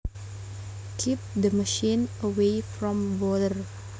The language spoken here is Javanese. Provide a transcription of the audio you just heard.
Keep the machine away from water